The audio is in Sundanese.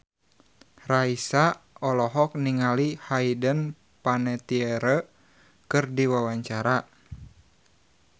Raisa olohok ningali Hayden Panettiere keur diwawancara